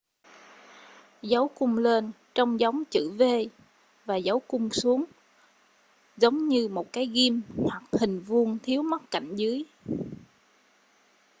dấu cung lên trông giống chữ v và dấu cung xuống giống như một cái ghim hoặc hình vuông thiếu mất cạnh dưới